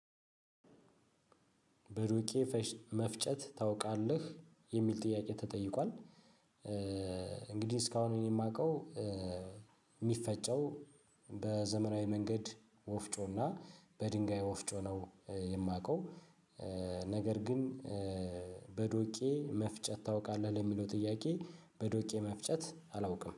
በሩቄ መፍጨት ታውቃለህ የሚል ጥያቄ ተጠይቋል። እንግዲህ እስካሁን የማውቀው የሚፈጨው በዘመናዊ መንገድ ወፍጮና በድንጋይ ወፍጮ ነው የማውቀው። ነገር ግን በዶቄ መፍጨት ታውቃለህ ለሚለው ጥያቄ በዶቄ መፍጨት አላውቅም